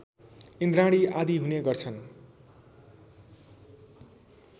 इन्द्राणी आदि हुने गर्छन्